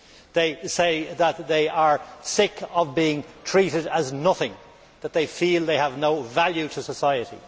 They say that they are sick of being treated as nothing and that they feel that they have no value to society.